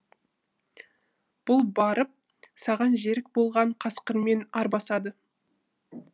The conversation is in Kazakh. бұл барып саған жерік болған қасқырмен арбасады